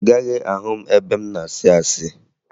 Ị gaghị ahụ m ebe m na-asị asị